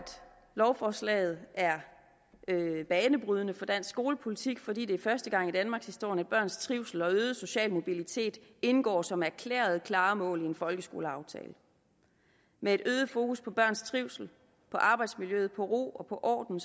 lovforslaget er banebrydende for dansk skolepolitik fordi det er første gang i danmarkshistorien at børns trivsel og øgede sociale mobilitet indgår som erklærede klare mål i en folkeskoleaftale med et øget fokus på børns trivsel på arbejdsmiljø på ro og på orden